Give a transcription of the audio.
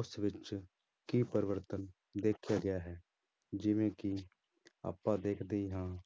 ਉਸ ਵਿੱਚ ਕੀ ਪਰਿਵਰਤਨ ਦੇਖਿਆ ਗਿਆ ਹੈ ਜਿਵੇਂ ਕਿ ਆਪਾਂ ਦੇਖਦੇ ਹੀ ਹਾਂ